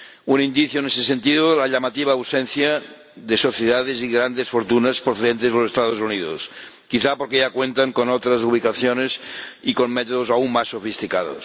Un indicio en ese sentido es la llamativa ausencia de sociedades y grandes fortunas procedentes de los Estados Unidos, quizá porque ya cuentan con otras ubicaciones y con métodos aún más sofisticados.